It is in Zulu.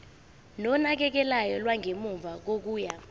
nonakekelo lwangemuva kokuya